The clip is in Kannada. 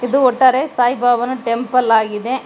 ಇದು ಒಟ್ಟಾರೆ ಸಾಯಿಬಾಬಾನ ಟೆಂಪಲ್ ಆಗಿದೆ.